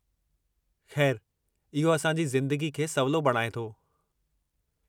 खै़रु, इहो असांजी ज़िंदगी खे सवलो बणाऐ थो।